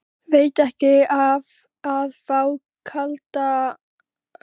Veitti ekki af að fá kalda baksturinn aftur.